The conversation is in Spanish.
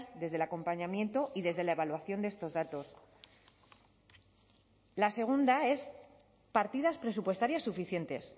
desde el acompañamiento y desde la evaluación de estos datos la segunda es partidas presupuestarias suficientes